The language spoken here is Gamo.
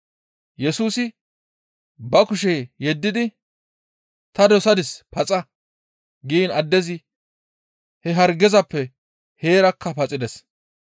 Yesusi ba kushe yeddidi, «Ta dosadis; paxa!» giin addezi he hargezappe heerakka paxides.